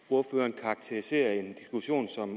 ordføreren karakteriserer en diskussion som